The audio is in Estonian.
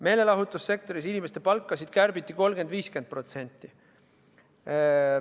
Meelelahutussektoris kärbiti inimeste palkasid 30–50%.